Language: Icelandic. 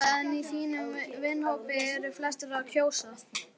Erla: En í þínum vinahópi, eru flestir að kjósa?